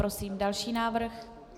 Prosím další návrh.